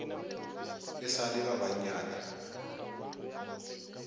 e sa le ba bannyane